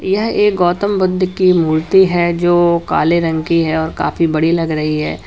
यह एक गौतम बुद्ध की मूर्ति है जो काले रंग की है और काफी बड़ी लग रही है।